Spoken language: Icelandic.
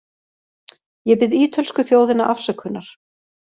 Ég bið ítölsku þjóðina afsökunar.